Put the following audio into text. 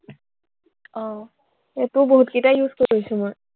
আহ সেইটোও বহুতকিটা use কৰি পাইছো মই।